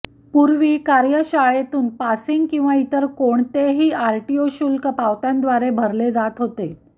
पूर्वी कार्यशाळेतून पासिंग किंवा इतर कोणतेही आरटीओ शुल्क पावत्यांद्वारे भरले जात होते